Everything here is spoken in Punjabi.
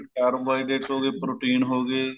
carbohydrates ਹੋ ਗਏ protein ਹੋ ਗਏ